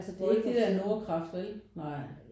Det er ikke det der Nordkraft vel? Nej